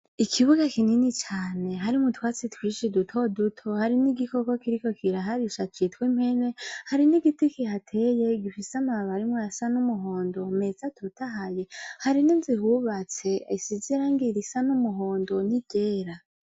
Ikibuga kinini cane, harimwo utwatsi twinshi duto duto, harimwo igikoko kiriko kiraharisha citwa impene, harimwo igiti kihateye, gifise amababi arimwo ayasa n'umuhondo meza atotahaye; hari n'inzu ihubatse, isize irangi risa n'umuhondo n'iryera.